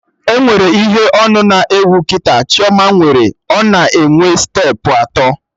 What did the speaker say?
Enwere ihe onu na-ewu kịta Chioma nwere, ọ na enwe steepụ atọ